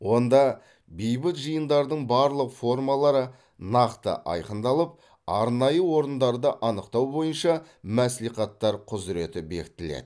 онда бейбіт жиындардың барлық формалары нақты айқындалып арнайы орындарды анықтау бойынша мәслихаттар құзыреті бекітіледі